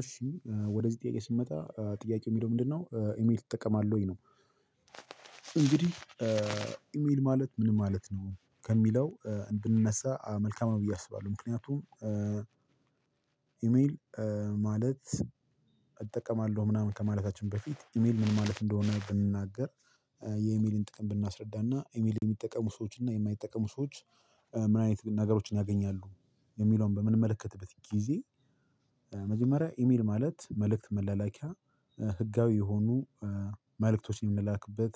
እሺ ወደዚህ ጥያቄ ስመጣ ጥያቄ የሚለው ምንድነው? ''ኢሜል ትጠቀማለህ ወይ?'' ነው። እንግዲህ ኢሜል ማለት ምንም ማለት ነው ከሚለው እንድንነሳ መልካም ነው ብዬ አስባለሁ። ምክንያቱም ኢሜል ማለት እጠቀማለሁ ምናምን ከማለታችን በፊት ኢሜል ምን ማለት እንደሆነ ብንናገር የኢሜልን ጥቅም ብናስረዳና ኢሜል የሚጠቀሙ ሰዎችን እና የማይጠቀሙ ሰዎች ምን አይነት ነገሮችን ያገኛሉ የሚለውን በምንመለከትበት ጊዜ፤ መጀመሪያ ኢሜል ማለት መልእክት መላላኪያ ህጋዊ የሆኑ መልእክቶችን የምላክበት፤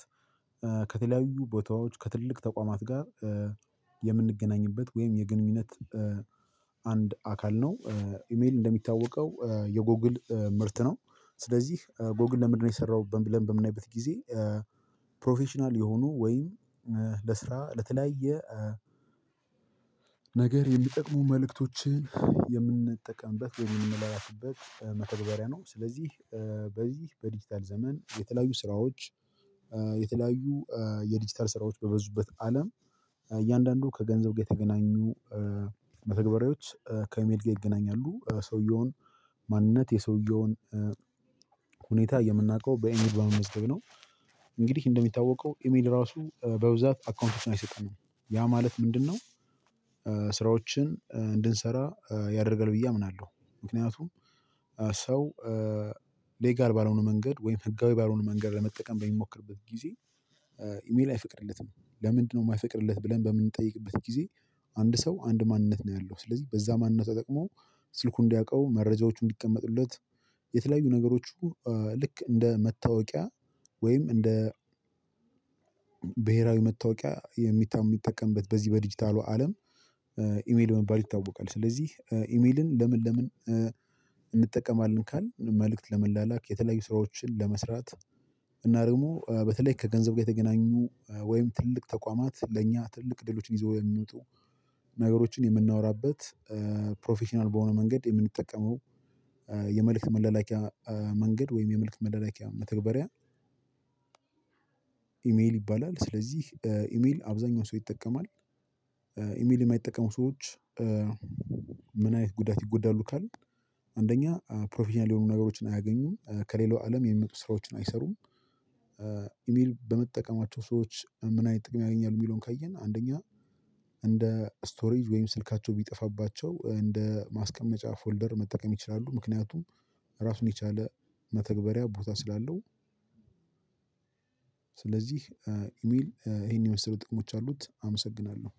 ከተለያዩ ቦታዎች ከትልቅ ተቋማት ጋር የምንገናኝበት ወይም የግንኙነት አንድ አካል ነው ኢሜል እንደሚታወቀው የጎግል ምርት ነው፤ ስለዚህ ጎግል ለምንድነው የሰራው ብለን በምንጠይቅበት ጊዜ ፕሮፌሽናል የሆኑ ወይም ለስራ ለተለያየ ነገር የሚጠቅሙ መልእክቶችን የምንጠቀምበት ወይም የምንላላክበት መተግበሪያ ነው። ስለዚህ በዚህ በዲጂታል ዘመን የተለያዩ ስራዎች የተለያዩ የዲጂታል ስራዎች በበዙበት አለም እያንዳንዱ ከገንዘብ ጋር የተገናኙ መተግበሪያዎች ከእሜል ጋር ይገናኛሉ፤ የሰውየውን ማንነት የሰውየውን ሁኔታ የምናውቀው በኢሜል በመመዝገብ ነው እንግዲህ እንደሚታወቀው ኢሜል ራሱ በብዛት አካውንቶች አይሰጠንም። ያ ማለት ምንድነው ስራዎችን እንድንሰራ ያደርገን ብዬ አምናለሁ ምክንያቱም ሰው ሌጋል ባለሆነ መንገድ ወይም ህጋዊ ባለሆነ መንገድ ለመጠቀም በሚሞክርበት ጊዜ ኢሜል አይፈቅድለትም። ለምንድነው የማይፈቅድለት ብለን በምንጠይቅበት ጊዜ አንድ ሰው አንድ ማንነት ነው ያለው፤ ስለዚህ በዛ ማንነት ተጠቅሞ ስልኩ እንዲያውቀው፤ መረጃዎቹ እንዲቀመጡለት፤ የተለያዩ ነገሮቹ ልክ እንደ መታወቂያ ወይም እንደ ብሄራዊ መታወቂያ በየሁኔታው በምንጠቀምበት በዚህ በዲጂታሉ አለም ኢሜል በመባል ይታወቃል። ስለዚህ ኢሜልን ለምን ለምን እንጠቀማለን ካልን መልእክት ለመላላክ፤ የተለያዩ ስራዎችን ለመስራት እና ደግሞ በተለይ ከገንዘብ ጋር የተገናኙ ወይም ትልቅ ተቋማት ለእኛ ትልቅ ድሎችን ይዘው የሚወጡ ነገሮችን የምናወራበት ፕሮፌሽናል በሆነ መንገድ የምንጠቀመው የመልእክት መለላኪያ መንገድ ወይም የመልእክት መለላኪያ መተግበሪያ ኢሜል ይባላል። ስለዚህ ኢሜል አብዛኛው ሰው ይጠቀማል። ኢሜል የማይጠቀሙ ሰዎች ምን አይነት ጉዳት ይጎዳሉ ካልን አንደኛ ፕሮፌሽናል የሆኑ ነገሮችን አያገኙም ከሌላው አለም የሚመጡ ስራዎችን አይሰሩም ኢሜል በመጠቀማቸው ሰዎች ምን አይነት ጥቅም ያገኛሉ የሚለውን ካየን አንደኛ እንደ ስቶሬጅ ወይም ስልካቸው ቢጠፋባቸው እንደ ማስቀመጫ ፎልደር መጠቀም ይችላሉ፤ ምክንያቱም እራሱን የቻለ መተግበሪያ ቦታ ስላለው ስለዚህ ኢሜል ይሄን የመሰሉ ጥቅሞች አሉት፤ አመሰግናለሁ።